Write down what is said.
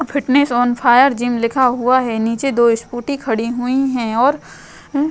Fitness on fire gym लिखा हुआ है। नीचे दो स्कूटी खड़ी हुई हैं और अ --